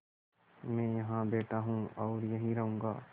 मैं यहाँ बैठा हूँ और यहीं रहूँगा